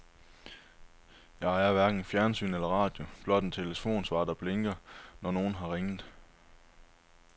Jeg ejer hverken fjernsyn eller radio, blot en telefonsvarer, der blinker, når nogen har ringet.